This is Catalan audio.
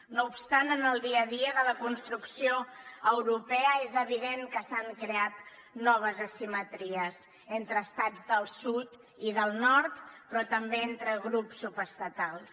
no obstant en el dia a dia de la construcció europea és evident que s’han creat noves asimetries entre estats del sud i del nord però també entre grups subestatals